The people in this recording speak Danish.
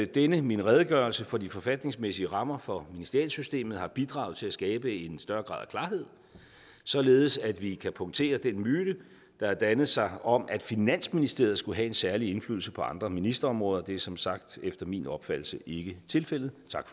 denne min redegørelse for de forfatningsmæssige rammer for ministerialsystemet har bidraget til at skabe en større grad af klarhed således at vi kan punktere den myte der har dannet sig om at finansministeriet skulle have en særlig indflydelse på andre ministerområder det er som sagt efter min opfattelse ikke tilfældet tak